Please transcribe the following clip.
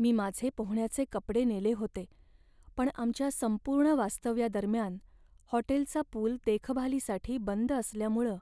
मी माझे पोहण्याचे कपडे नेले होते, पण आमच्या संपूर्ण वास्तव्यादरम्यान हॉटेलचा पूल देखभालीसाठी बंद असल्यामुळं